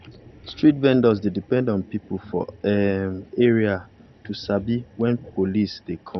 street vendors dey depend on people for um area to to sabi when police dey come.